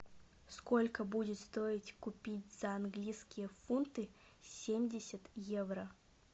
сколько будет стоить купить за английские фунты семьдесят евро